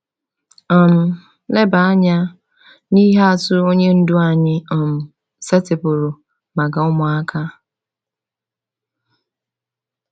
um Leba anya na ihe atụ Onye Ndu anyị um setịpụrụ maka ụmụaka.